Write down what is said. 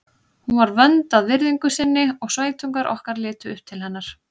Hún var vönd að virðingu sinni og sveitungar okkar litu upp til hennar.